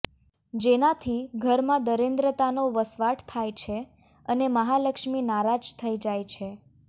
જેનાથી ઘરમાં દરિદ્રતાનો વસવાટ થાય છે અને મહાલક્ષ્મી નારાજ થઇ જાય છે